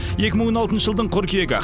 екі мың он алтыншы жылдың қыркүйегі